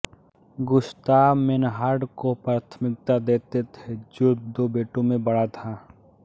Gustav Meinhard को प्राथमिकता देते थे जो दो बेटों में बड़ा था